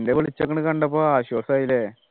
പിന്നെ വെളിച്ചങ്ങട് കണ്ടപ്പോ ആശ്വാസമായില്ലേ